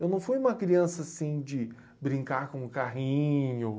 Eu não fui uma criança assim de brincar com carrinho.